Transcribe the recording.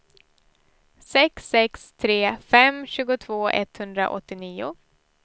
sex sex tre fem tjugotvå etthundraåttionio